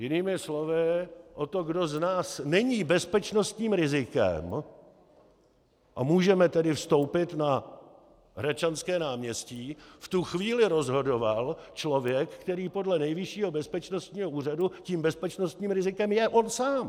Jinými slovy, o tom, kdo z nás není bezpečnostním rizikem, a může tedy vstoupit na Hradčanské náměstí, v tu chvíli rozhodoval člověk, který podle Nejvyššího bezpečnostního úřadu tím bezpečnostním rizikem je on sám.